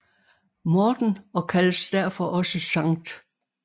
Morten og kaldes derfor også Sct